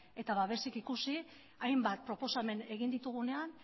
eta babesik ikusi hainbat proposamen egin ditugunean